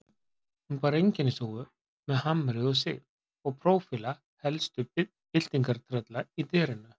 Hún bar einkennishúfu með hamri og sigð og prófíla helstu byltingartrölla í derinu.